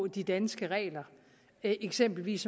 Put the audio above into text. de danske regler eksempelvis